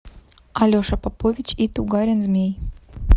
алеша попович и тугарин змей